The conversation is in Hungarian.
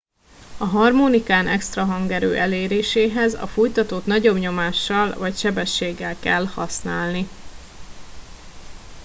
a harmonikán extra hangerő eléréséhez a fújtatót nagyobb nyomással vagy sebességgel kell használni